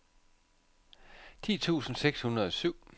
ti tusind seks hundrede og syv